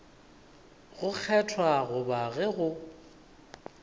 go kgethwa goba ge go